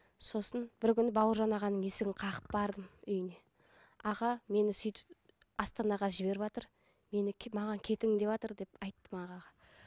сосын бір күні бауыржан ағаның есігін қағып бардым үйіне аға мені сөйтіп астанаға жіберватыр мені маған кетің деватыр деп айттым ағаға